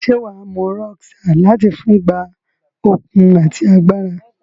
Se waa mu Rockstar lati fun gba okun ati agbara?